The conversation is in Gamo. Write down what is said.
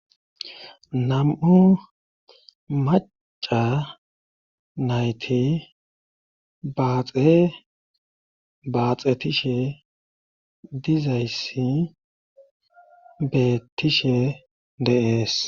nam7u maca nayti baaxe baaxetishe dizayssi betishe deees